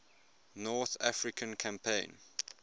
north african campaign